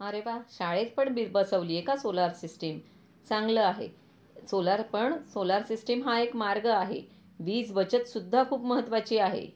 अरे वाह! शाळेत पण बसवलीए का सोलार सिस्टीम, चांगले आहे सोलार पण सोलार सिस्टम हा एक मार्ग आहे, वीज बचत सुद्धा खूप महत्त्वाची आहे.